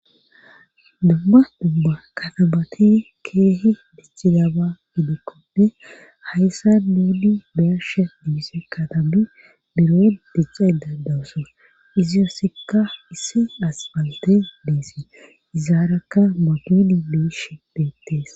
Dumma dumba kanabati keehi dichi daba gidekkode hayssa nuuli bersha dimise katami biro diccada dawusso iziyoossikka issi aspalte deessi izaarakka maduni beish beettees.